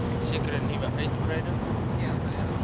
sekere nuwe uitgebreide